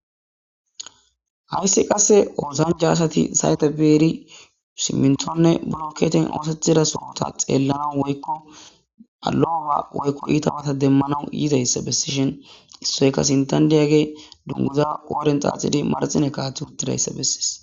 Hayisi qasse osanocha assati sayite bidi simintone bolokote ossetidda sohoni ta xelanawu woyiko lo'o ba woyiko itta bata demanawu yidayissa besishi issoyi qasse sinthani diyagey dunguza qodheni xaxidi utidatissa besses